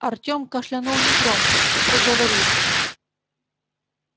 артём кашлянул негромко и проговорил